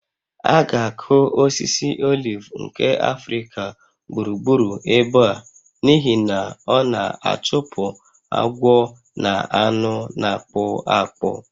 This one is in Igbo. A ga-akụ osisi oliv nke Africa gburugburu ebe a n'ihi na ọ na-achụpụ agwọ na anụ na-akpụ akpụ